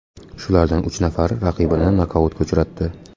Shulardan uch nafari raqibini nokautga uchratdi.